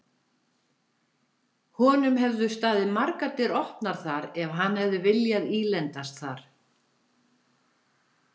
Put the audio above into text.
Honum hefðu staðið margar dyr opnar þar ef hann hefði viljað ílendast þar.